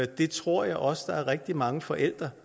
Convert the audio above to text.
det tror jeg også der er rigtig mange forældre